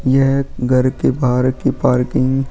यह घर के बाहर की पार्किंग --